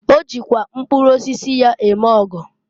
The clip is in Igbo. O jikwa mkpụrụ osisi ya eme ọgọ.